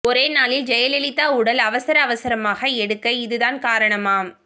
ஒரே நாளில் ஜெயலலிதா உடல் அவசர அவசரமாக எடுக்க இது தான் காரணமாம்